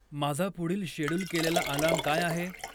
माझा पुढील शेड्यूल केलेला अलार्म काय आहे?